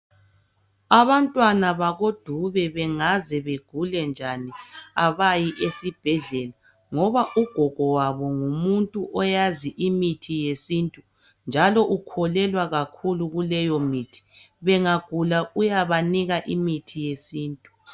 Abantwana bakoDube bengaze begule njani abayi esibhedlela ngoba ugogo wabo ngumuntu oyazi imithi yesintu njalo ukholelwa kakhulu kuleyo mithi. Bengagula uyabanika imithi yesintu.